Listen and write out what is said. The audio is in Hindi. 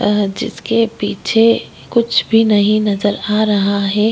अ जिसके पीछे कुछ भी नहीं नज़र आ रहा है।